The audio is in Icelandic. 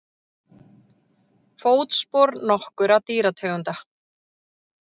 Fótspor nokkurra dýrategunda.